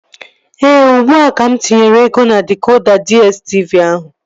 Ee, ugbua ka mụ tinyere ego na dịkoda DSTV ahụ